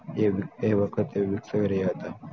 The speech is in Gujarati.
તે વખત અમુક સો રહ્યા હતા